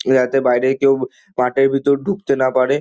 যাতে বাইরের কেউ মাঠের ভিতর ঢুকতে না পারে।